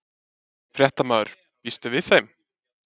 Fréttamaður: Býstu við þeim?